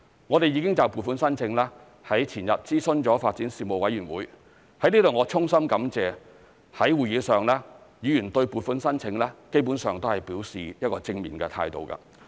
我們已就撥款申請，在前日諮詢發展事務委員會，我在此衷心感謝在會議上議員對撥款申請基本上表示正面的態度。